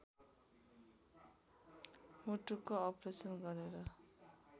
मुटुको अप्रेसन गरेर